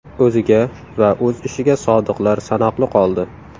O‘ziga va o‘z ishiga sodiqlar sanoqli qoldi.